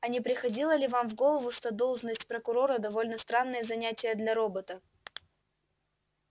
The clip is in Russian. а не приходило ли вам в голову что должность прокурора довольно странное занятие для робота